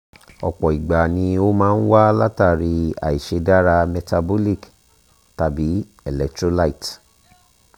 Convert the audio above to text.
ọ̀pọ̀ ìgbà ni ó máa ń wá látàrí àìṣeé dára metabolic tàbí electrolyte